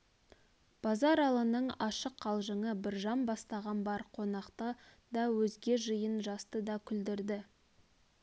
базаралының ашық қалжыңы біржан бастаған бар қонақты да өзге жиын жасты да күлдірді